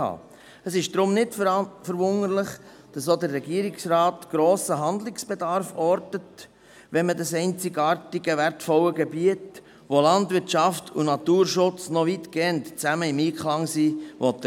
Deshalb ist es nicht verwunderlich, dass auch der Regierungsrat grossen Handlungsbedarf ortet, wenn man das einzigartige, wertvolle Gebiet erhalten will, wo Landwirtschaft und Naturschutz noch weitgehend im Einklang sind.